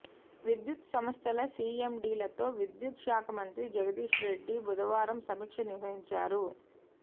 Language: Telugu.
విద్యుత్ సంస్థల సీఎండీలతో విద్యుత్ శాఖ మంత్రి జగదీశ్రెడ్డి బుధవారం సమీక్ష నిర్వహించారు